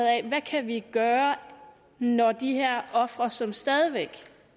af hvad kan vi gøre når de her ofre som stadig væk